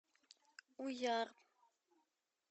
уяр